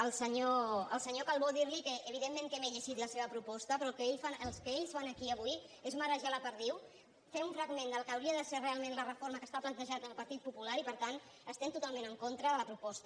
al senyor calbó dir li que evidentment que m’he llegit la seva proposta però el que ells fan aquí avui és marejar la perdiu fer un fragment del que hauria de ser realment la reforma que planteja el partit popular i per tant estem totalment en contra de la proposta